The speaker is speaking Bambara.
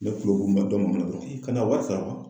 Ne kulo kun bɛ dɔ mankan na i kana wari sara.